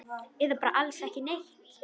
Eða bara alls ekki neitt?